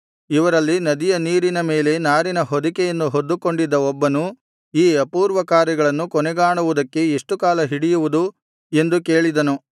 ಇವರಲ್ಲಿ ನದಿಯ ನೀರಿನ ಮೇಲೆ ನಾರಿನ ಹೊದಿಕೆಯನ್ನು ಹೊದ್ದುಕೊಂಡಿದ್ದ ಒಬ್ಬನು ಈ ಅಪೂರ್ವ ಕಾರ್ಯಗಳು ಕೊನೆಗಾಣುವುದಕ್ಕೆ ಎಷ್ಟು ಕಾಲ ಹಿಡಿಯುವುದು ಎಂದು ಕೇಳಿದನು